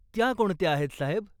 त्या कोणत्या आहेत, साहेब?